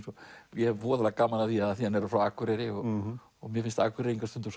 ég hef gaman af af því hann er frá Akureyri og og mér finnst Akureyringar stundum